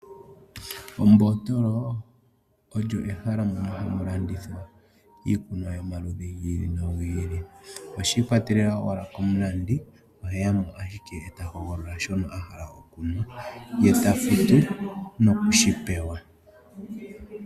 Oombotolo olyo ehala hamu landithwa iikunwa yomaludhi ogendji. Oshiikwatelela owala komulandi oheyamo owala eta hogolola shono ahala ye tafutu nokushipewa.